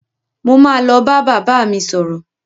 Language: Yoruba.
Mo ma lọ bá bàbá mi sọ̀rọ̀.